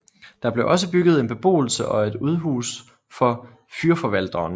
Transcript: Der blev også bygget en beboelse og et udhus for fyrforvalteren